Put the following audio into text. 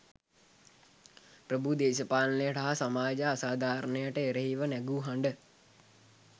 ප්‍රභූ දේශපාලනයට හා සමාජ අසාධාරණයට එරෙහිව නැගූ හඬ